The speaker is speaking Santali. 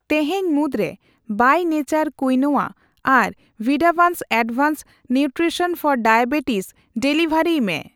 ᱛᱮᱦᱮᱧ ᱢᱩᱫᱽᱨᱮ ᱵᱟᱭ ᱱᱮᱪᱟᱨ ᱠᱩᱭᱱᱚᱣᱟ ᱟᱨ ᱵᱷᱤᱰᱟᱵᱷᱟᱱᱥ advanced nutrition for diabetes delivery ᱢᱮ ᱾